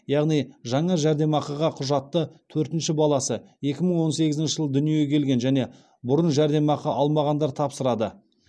яғни жаңа жәрдемақыға құжатты төртінші баласы екі мың он сегізінші жылы дүниеге келген және бұрын жәрдемақы алмағандар тапсырады